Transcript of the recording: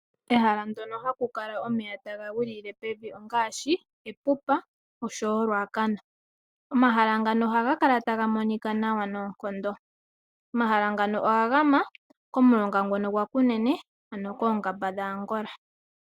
Ehala ndyono haku kala omeya taga gwilile pevi ongaashi Epupa, osho wo oRuacana. Omahala ngano ohaga kala taga monika nawa noonkondo. Omahala ngano oga gama komulonga ngono gwaKunene, koongamba dhAngola.